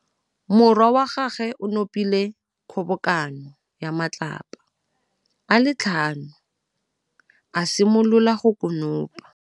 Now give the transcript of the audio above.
Morwa wa gagwe o nopile kgobokanô ya matlapa a le tlhano, a simolola go konopa.